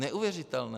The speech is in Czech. Neuvěřitelné.